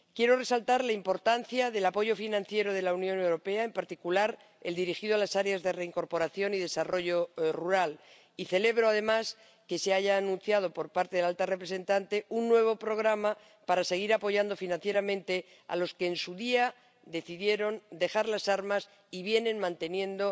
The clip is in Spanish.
Quiero resaltar la importancia del apoyo financiero de la Unión Europea, en particular el dirigido a las áreas de reincorporación y desarrollo rural, y celebro, además, que se haya anunciado, por parte de la alta representante, un nuevo programa para seguir apoyando financieramente a los que en su día decidieron dejar las armas y vienen manteniendo